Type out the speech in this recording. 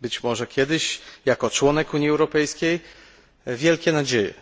być może kiedyś jako członek Unii Europejskiej, wielkie nadzieje.